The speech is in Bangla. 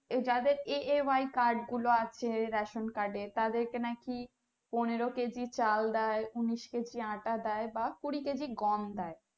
যাদের AAY গুলো আছে ration card এ নাকি পনেরো কেজি চাল দেয় উনিশ কেজি আটা দেয় বা কুড়ি কেজি গম দেয়